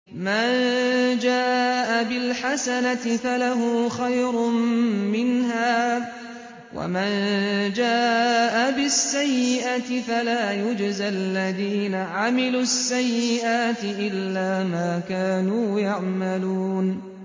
مَن جَاءَ بِالْحَسَنَةِ فَلَهُ خَيْرٌ مِّنْهَا ۖ وَمَن جَاءَ بِالسَّيِّئَةِ فَلَا يُجْزَى الَّذِينَ عَمِلُوا السَّيِّئَاتِ إِلَّا مَا كَانُوا يَعْمَلُونَ